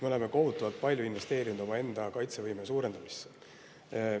Me oleme kohutavalt palju investeerinud omaenda kaitsevõime suurendamisse.